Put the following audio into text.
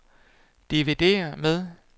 dividér med